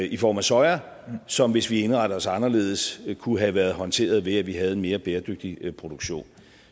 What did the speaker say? i form af soja som hvis vi indrettede os anderledes kunne have været håndteret ved at vi havde en mere bæredygtig produktion